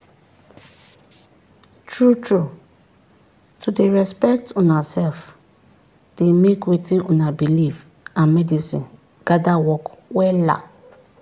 true trueto dey respect una sef dey make wetin una believe and medicine gather work wella.